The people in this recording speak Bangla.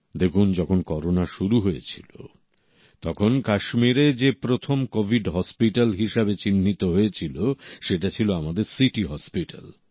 দেখুন যখন করোনা শুরু হয়েছিল তখন কাশ্মীরে যে প্রথম কোভিড হসপিটাল হিসেবে চিহ্নিত হয়েছিল সেটা ছিল আমাদের সিটি হসপিটাল